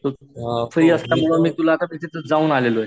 तू free आसल्यामुळं मी तुला आता मी तिथं जाऊन आलेलोये.